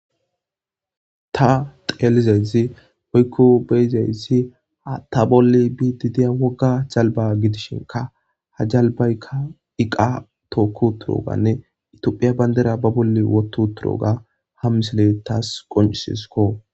Ta xeelizazi hoykko beyzayssi ta bolle bididiya wogga jalba gidishinka ha jalbaykka iqa tookku turooganne itophiya bandera ba bolle woto turoga ha misile taas qoncisisko.